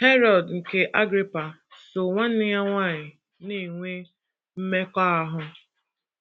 Herọd nke Agrịpa so nwanne ya nwanyị, na - enwe mmekọahụ.